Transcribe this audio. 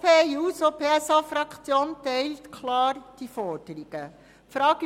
Die SP-JUSO-PSA-Fraktion teilt diese Forderungen klar.